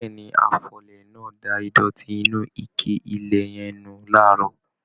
Béèni, afọlẹ̀ náà da ìdòtí inú ike ilẹ̀ yẹn nù laarọ.